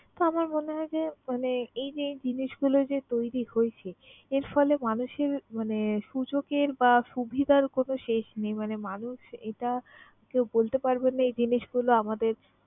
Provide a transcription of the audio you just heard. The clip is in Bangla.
তো আমার মনে হয় যে মানে এই যে এই জিনিসগুলা যে তৈরি হয়েছে, এর ফলে মানুষের মানে সুযোগের বা সুবিধার কোন শেষ নেই। মানে মানুষ এটা কেউ বলতে পারবে না এই জিনিসগুলা আমাদের